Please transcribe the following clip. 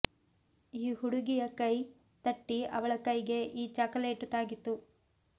ಈ ಹುಡುಗಿಯ ಕೈ ತಟ್ಟಿ ಅವಳ ಕೈಗೆ ಈ ಚಾಕಲೇಟು ಹಾಕಿತು